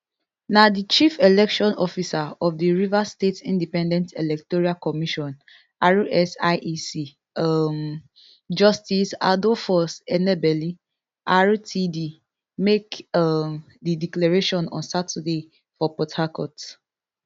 na di chief election officer of di rivers state independent electoral commission rsiec um justice adolphus enebeli rtd make um di declaration on saturday for port harcourt